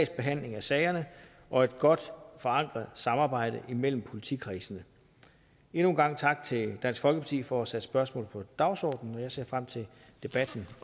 behandling af sagerne og et godt forankret samarbejde imellem politikredsene endnu en gang tak til dansk folkeparti for at have sat spørgsmålet på dagsordenen jeg ser frem til debatten